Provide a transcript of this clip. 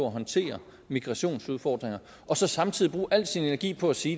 at håndtere migrationsudfordringer og så samtidig bruger al sin energi på at sige